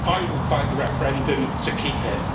I will fight the referendum to keep it.